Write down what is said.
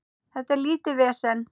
Þetta er lítið vesen.